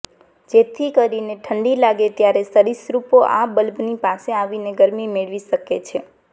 જેથી કરીને ઠંડી લાગે ત્યારે સરિસૃપો આ બલ્બની પાસે આવીને ગરમી મેળવી શકે છે